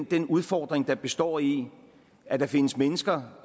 den udfordring der består i at der findes mennesker